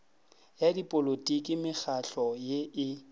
ya dipolotiki mekgahlo ye e